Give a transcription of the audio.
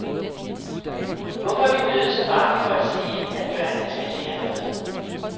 Hvorfor er vi blevet så bange for at sige, at børnene skal lære noget.